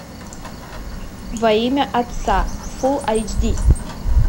во имя отца фулл айч ди